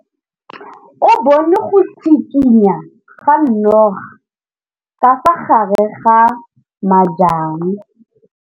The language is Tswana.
O bone go tshikinya ga noga ka fa gare ga majang.